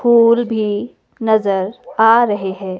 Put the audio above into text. फूल भी नजर आ रहे है।